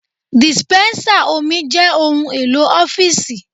Dispensa omi jẹ́ ohun-èlò ọ́fíìsì.